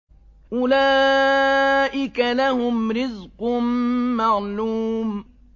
أُولَٰئِكَ لَهُمْ رِزْقٌ مَّعْلُومٌ